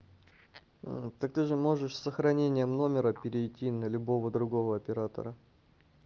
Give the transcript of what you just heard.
ээ так ты же можешь с сохранением номера перейти на любого другого оператора